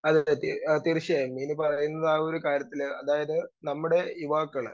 speaker 2 അതെ അതെ തീർച്ചയായും ഇനി പറയുന്നതാകാര്യത്തില് അതായത് നമ്മടെ യുവാക്കള്